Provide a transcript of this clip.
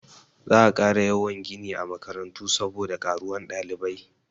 Za a ƙara yawan gini a makarantu saboda ƙaruwan ɗalibai.